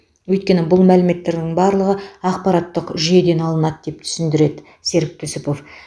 өйткені бұл мәліметтердің барлығы ақпараттық жүйеден алынады деп түсіндіреді серік түсіпов